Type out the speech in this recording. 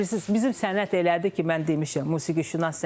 Bilirsiz, bizim sənət elədir ki, mən demişəm,